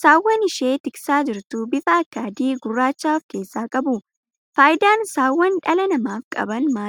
saawwan isheen tiksaa jirtu bifa akka adii fi guurraacha of keessaa qabu. faayidaan saawwaan dhala namaaf qaban maali?